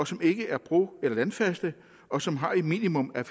som ikke er bro eller landfaste og som har et minimum af